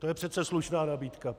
To je přece slušná nabídka.